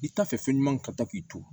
I t'a fɛ fɛn ɲuman ka taa k'i to